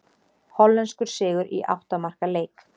Hollenskur sigur í átta marka leik